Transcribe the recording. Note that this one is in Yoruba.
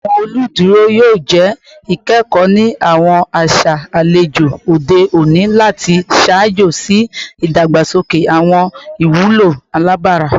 Awọn oluduro yoo jẹ ikẹkọ ni awọn aṣa alejò ode oni lati ṣaajo si idagbasoke awọn iwulo alabara